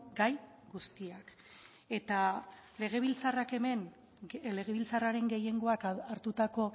gai guztiak eta legebiltzarrak hemen legebiltzarraren gehiengoak hartutako